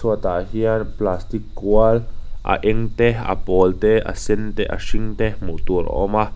chhuatah hian plastic kual a eng te a pawl te a sen te a hring te hmuh tur a awm a.